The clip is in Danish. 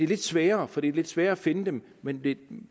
lidt sværere for det er lidt sværere at finde dem men